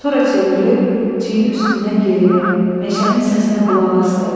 Sonra çevrilib çiyni üstündən geriyə, meşənin səsinə qulaq asdı.